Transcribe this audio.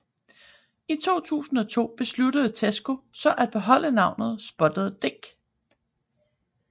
I 2002 besluttede Tesco så at beholde navnet Spotted Dick